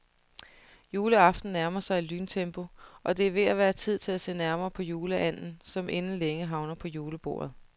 Juleaften nærmer sig i lyntempo, og det er ved at være tid til at se nærmere på juleanden, som inden længe havner på julebordet.